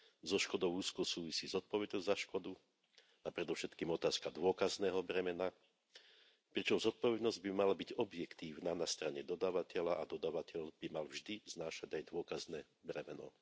Zo škodou úzko súvisí zodpovednosť za škodu a predovšetkým otázka dôkazného bremena, pričom zodpovednosť by mala byť objektívna na strane dodávateľa a dodávateľ by mal vždy znášať aj dôkazné bremeno.